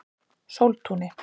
Sóltúni